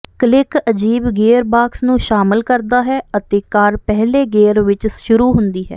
click ਅਜੀਬ gearbox ਨੂੰ ਸ਼ਾਮਲ ਕਰਦਾ ਹੈ ਅਤੇ ਕਾਰ ਪਹਿਲੇ ਗੇਅਰ ਵਿੱਚ ਸ਼ੁਰੂ ਹੁੰਦੀ ਹੈ